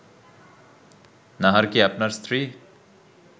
নাহার কি আপনার স্ত্রী